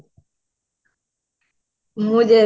ମୁଁ ଦେ